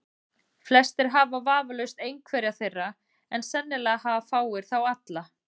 Flestir hafa vafalaust einhverja þeirra, en sennilega hafa fáir þá alla.